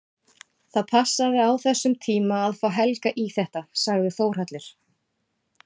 Það passaði á þessum tíma að fá Helga í þetta, sagði Þórhallur.